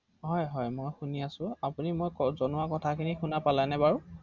অ অ